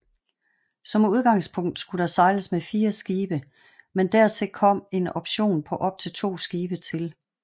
Som udgangspunkt skulle der sejles med fire skibe men dertil kom en option på op til to skibe til